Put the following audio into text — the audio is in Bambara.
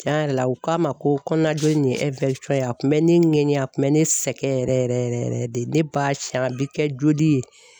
Tiɲɛ yɛrɛ la u k'a ma ko kɔnɔnajoli in ye ye a kun bɛ ne ŋɛɲɛ a kun bɛ ne sɛgɛn yɛrɛ yɛrɛ yɛrɛ de ne b'a siɲɛ a bɛ kɛ joli ye.